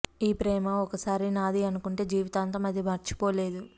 ఈ ప్రేమ ఒకసారి నాది అనుకుంటే జీవితాంతం అది మర్చిపోలేదు